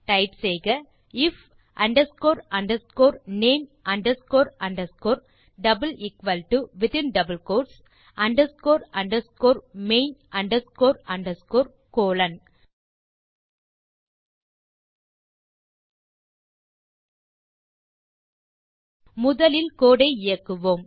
type செய்க if underscore underscore name underscore underscore within double quotes underscore underscore main underscore underscore colon முதலில் code ஐ இயக்குவோம்